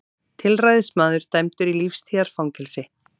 Tilræðismaður dæmdur í lífstíðarfangelsi